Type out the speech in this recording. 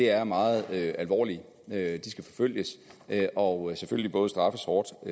er meget alvorligt det skal forfølges og og straffes hårdt og